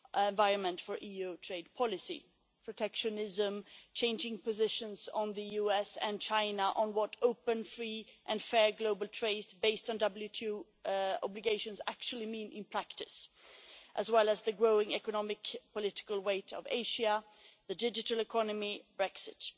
environment for EU trade policy, protectionism, changing positions on the US and China, on what open, free and fair global trade based on WTO obligations actually means in practice, as well as the growing economic political weight of Asia, the digital economy and Brexit.